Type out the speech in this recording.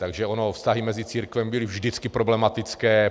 Takže ony vztahy mezi církvemi byly vždycky problematické.